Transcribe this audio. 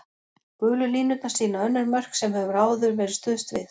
Gulu línurnar sýna önnur mörk sem hefur áður verið stuðst við.